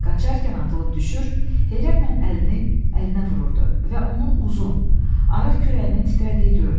Qaçarkən atılıb düşür, heyrətlə əlini əlinə vururdu və onun uzun, arıq kürəyinin titrədiyi görünürdü.